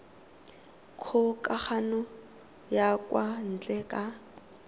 kgokagano ya kwa ntle ka